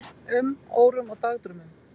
um, órum og dagdraumum.